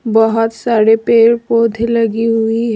बहोत सारे पेड़ पौधे लगी हुई है।